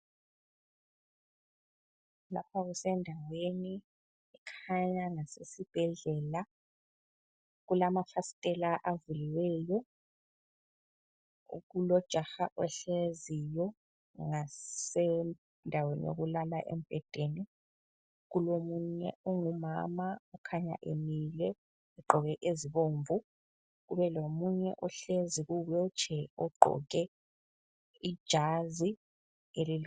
Lapha kusendaweni ekhanya lasesibhedlela kulamafasitela avuliweyo kulojaha ohleziyo ngasendaweni yokulala embhedeni. Kulomunye ongumama okhanya emile egqoke ezibomvu kubelomunye ohlezi kuwheelchair ogqoke ijazi.